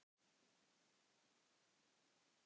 og svo mætti lengi telja.